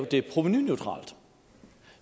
det provenuneutralt